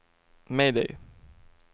mayday